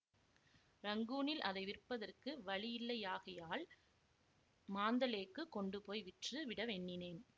ரங்கூனில் அதை விற்பதற்கு வழியில்லையாகையால் மாந்தலேக்குக் கொண்டு போய் விற்று விட எண்ணினேன்